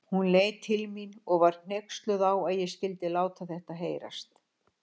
Hún leit til mín og var hneyksluð á að ég skyldi láta þetta heyrast.